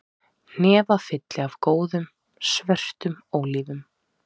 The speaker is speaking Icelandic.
Hnefafylli af góðum, svörtum ólífum